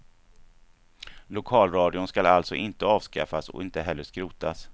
Lokalradion skall alltså inte avskaffas och inte heller skrotas.